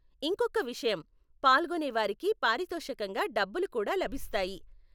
ఇంకొక్క విషయం, పాల్గొనేవారికి పారితోషికంగా డబ్బులు కూడా లభిస్తాయి.